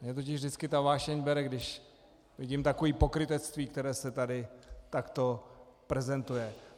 Mě totiž vždycky ta vášeň bere, když vidím takové pokrytectví, které se tu takto prezentuje.